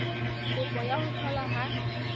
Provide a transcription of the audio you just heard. kopo ya ho tholwa ha